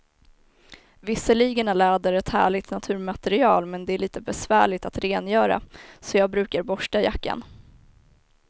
Visserligen är läder ett härligt naturmaterial, men det är lite besvärligt att rengöra, så jag brukar borsta jackan.